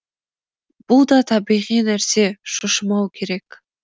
бұл да табиғи нәрсе шошымау керек